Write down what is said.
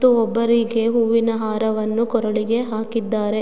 ಮತ್ತು ಒಬ್ಬರಿಗೇ ಹೂವಿನ ಹಾರವನ್ನು ಕೊರಳಿಗೆ ಹಾಕಿದ್ದಾರೆ.